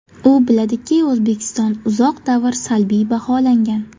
U biladiki, O‘zbekiston uzoq davr salbiy baholangan.